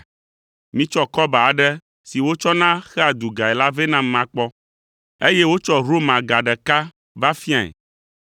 Mitsɔ kɔba aɖe si wotsɔna xea dugae la vɛ nam makpɔ.” Eye wotsɔ Roma ga ɖeka va fiae.